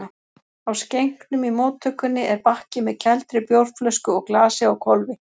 Á skenknum í móttökunni er bakki með kældri bjórflösku og glasi á hvolfi.